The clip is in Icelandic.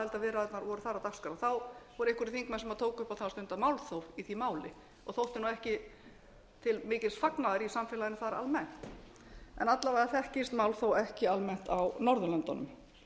aðildarviðræðurnar voru þar á dagskrá þá voru einhverjir þingmenn sem tóku upp á því að stunda málþóf í því máli og þótti ekki til mikils fagnaðar í samfélaginu þar almennt en alla vega þekkist málþóf ekki almennt á norðurlöndunum yfirleitt er